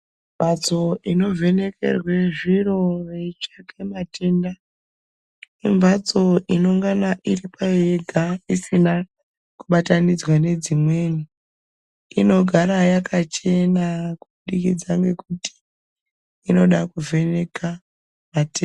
Mhatso ino vhenekerwa zviro yeitsvake matenda, imhatso inongana iri payo yega isina kubatanidzwe ngedzimweni. Inogara yakachena kubudikisa nekuti inoda kuvheneka matenda.